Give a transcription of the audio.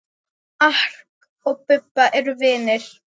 Mark og Bubba eru vinir.